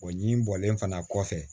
O ɲi bɔlen fana kɔfɛ